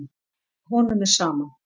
Honum er sama.